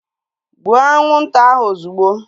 Gbuo anwụnta ahu ozigbo!